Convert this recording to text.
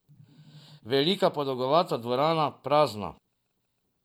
Velika, podolgovata dvorana, prazna.